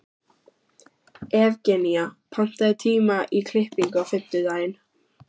Evgenía, pantaðu tíma í klippingu á fimmtudaginn.